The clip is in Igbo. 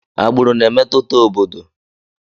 Agbụrụ na-emetụta obodo.